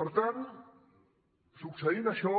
per tant succeint això